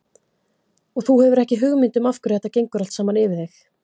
Og þú hefur ekki hugmynd um af hverju þetta gengur allt saman yfir þig.